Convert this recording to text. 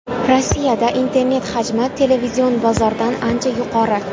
Rossiyada internet hajmi televizion bozordan ancha yuqori.